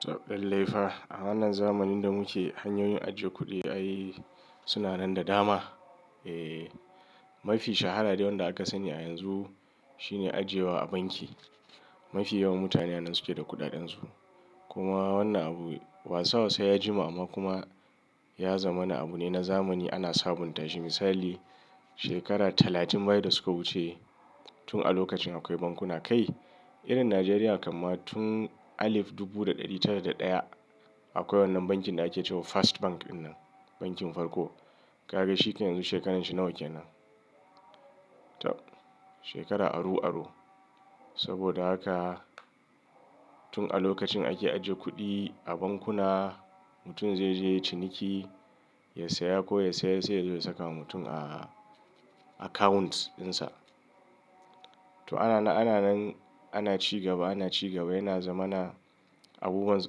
Tabb, lallai. A wannan zamanin da muke hanyoyin ajiye kuɗi ai suna nan da dama. Eee, mafi shahara dai wanda aka sani a yanzu shine ajiyewa a banki. Mafi yawan mutane wanda suke da kuɗaɗen su. Kuma wannan abu wasa wasa ya jima amma kuma ya zama na abu ne na zamani ana sabunta shi. Misali, shekara talatin baya da suka wuce tun a lokacin akwai bankuna kai. Irin Najeriya kamar tun alif dubu da ɗari tara da ɗaya akwai wannan bankin da ake cewa First Bank ɗinnan, bankin farko. Ka ga shi kai yanzu shekarar shi nawa kenan. Tabb, shekara aru aru. Saboda haka tun a lokacin ake ajiye kuɗi a bankuna mutum zai je ya yi ciniki, ya saya ko ya sayar sai ya je ya saka wa mutum a accounts ɗinsa. To ana nan, ana nan ana ci gaba, ana ci gaba yana zama na abubuwan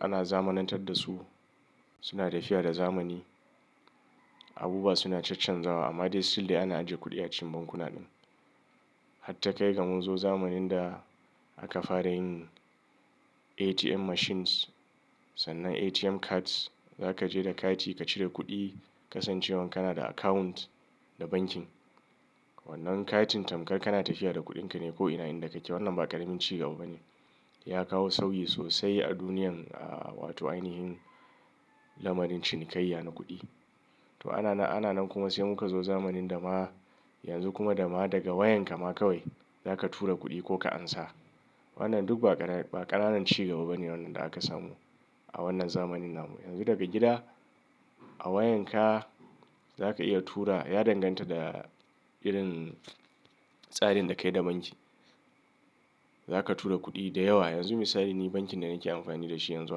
ana zamanantar da su suna tafiya da zamani. Abubuwa suna cancanzawa amma dai still dai ana ajiye kuɗi a cikin bankuna din. Hatta kai ga mun zo zamanin da aka fara yin ATM machines sannan ATM cards. Za ka je da kati ka cire kuɗi kasancewan kana da account da bankin. Wannan katin tamkar kana tafiya da kuɗin ka ne ko'ina inda kake. Wannan ba ƙaramin ci gaba bane. Ya kawo sauyi sosai a duniyan, aa, wato ainihin lamarin cinikayya na kuɗi. To ana nan, ana nan kuma sai muka zo zamanin dama yanzu kuma dama daga wayan ka ma kawai za ka tura kuɗi ko ka ansa. Wannan duk ba ƙananun, ba ƙananan ci gaba bane wannan da aka samu a wannan zamanin nan. Yanzu daga gida a wayan ka za ka iya tura, ya danganta da irin tsarin da ka yi da banki. Za ka tura kuɗi da yawa. Yanzu misali ni bankin da nake amfani da shi yanzu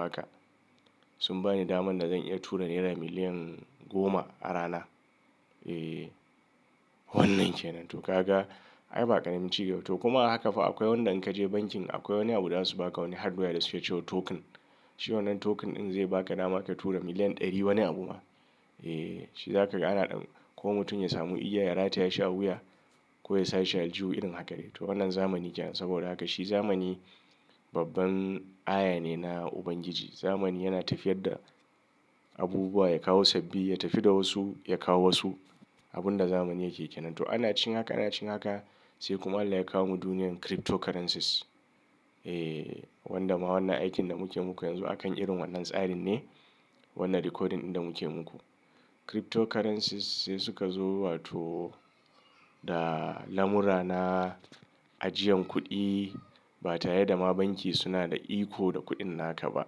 haka sun ba ni daman da zan iya tura naira miliyan goma a rana. Eee, wannan kenan. To ka ga ai ba ƙaramin ci gaba. To kuma haka fa akwai wanda in ka je bankin akwai wani abu da su ba ka wani hardware da suke cewa token. Shi wannan token ɗin zai ba ka dama ka tura miliyan ɗari wani abu ma. Eee, shi zaka ga ana ɗan ko mutum ya samu igiya ya rata ya shi a wuya ko ya sashi a aljihu irin haka dai. To wannan zamani kenan. Saboda haka shi zamani babban aya ne na Ubangiji. Zamani yana tafiyar da abubuwa, ya kawo sabbi, ya tafi da wasu, ya kawo wasu. Abun da zamani yake kenan. To ana cikin haka, ana cikin haka sai kuma Allah ya kawo mu duniyar cryptocurrencies. Eee, wanda ma wannan aikin da muke muku yanzu akan irin wannan tsarin ne wannan recording ɗin da muke muku. Cryptocurrencies sai suka zo wato da lamura na ajiyan kuɗi ba tare da ma banki suna da iko da kuɗin naka ba.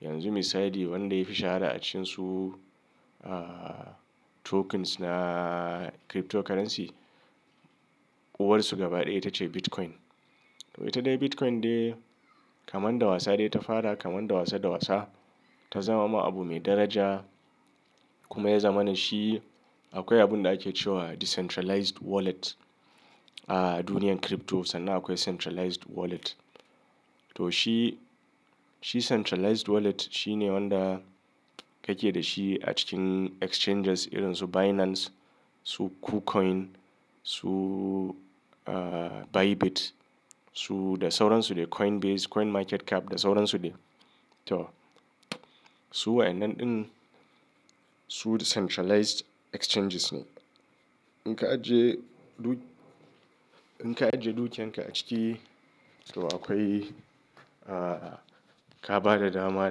Yanzu misali wanda yafi shahara a cikin su, ahhh, tokens na cryptocurrency, uwar su gaba ɗaya ita ce Bitcoin. To ita dai Bitcoin dai kamar dawasa dai ta fara kamar dawasa dawasa ta zama ma abu mai daraja kuma ya zama na shi akwai abun da ake cewa decentralized wallet a duniyar crypto sannan akwai centralized wallet. To shi, shi centralized wallet shi ne wanda ka ke da shi a cikin exchanges irin su Binance, su Kucoin, su, ahhh, Bybit, su da sauran su dai Coinbase, CoinMarketCap da sauran su dai. To su wa'innan ɗin su decentralized exchanges ne. In ka ajiye duk, in ka ajiye dukiyan ka a ciki to akwai, ahhh, ka ba da dama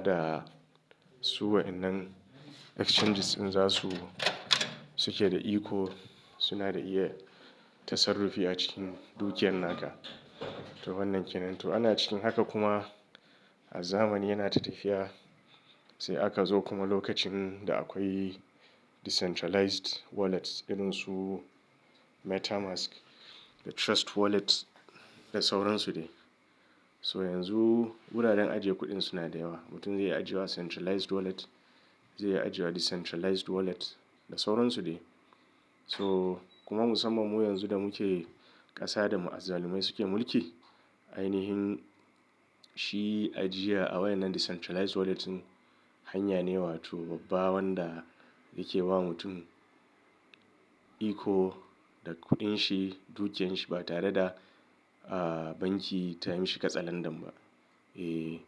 da su wa'innan exchanges ɗin za su, suke da iko suna da iya tasarrufi a cikin dukiyan naka. To wannan kenan. To ana cikin haka kuma a zamani yanata tafiya sai aka zo kuma lokacin da akwai decentralized wallets irin su MetaMask da Trust Wallet da sauran su dai. So yanzu wuraren ajiye kuɗin suna da yawa. Mutum zai iya ajiye wa centralized wallet, zai iya ajiye wa decentralized wallet da sauran su dai. So kuma musamman mu yanzu da muke ƙasa da mu azzalumai suke mulki ainihin shi ajiya a wannan decentralized wallet ɗin hanya ne wato babba wanda yake ba mutum iko da kuɗin shi, dukiyan shi ba tare da, ahhh, banki ta yi mashi kasalan dam ba. Eee.